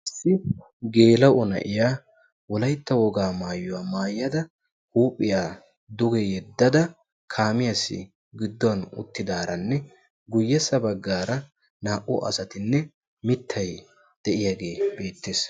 Issi geela'o na'iya wolaytta wogaa maayuwa maayada huuphiya duge yeddada kaamiyassi gidduwan uttidaaranne guyyessa baggaara naa'u asatinne mittayi diyagee beettes.